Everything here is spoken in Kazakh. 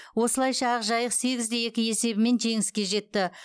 осылайша ақжайық сегіз де екі есебімен жеңіске жетті